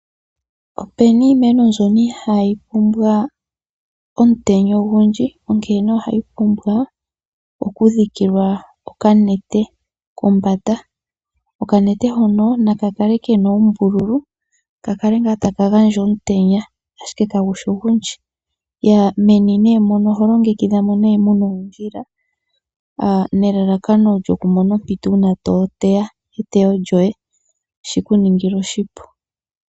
Opu na iimeno mbyono ihayi pumbwa omutenya ogundji, onkene ohayi oumbwa okudhikilwa okanete kombanda. Okanete hono na ka kale ke na oombululu, kale ngaa taka gandja omutenya, ashike kagu shi ogundji. Meni mono oho longekidha mo mu na oondjila nelalakano okumona ompito uuna to teya eteyo lyoye shi ku ningile oshipu.